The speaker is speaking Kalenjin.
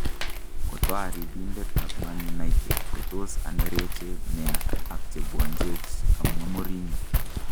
kotaribindet ap manunitet kotos anereche nea ak chepwanjech , kamwa Mourinho